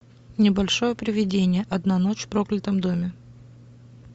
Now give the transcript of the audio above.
небольшое привидение одна ночь в проклятом доме